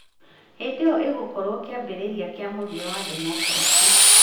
hĩndĩ ĩyo ĩgũkorwo kĩambĩrĩria kĩa mũthia wa democracy.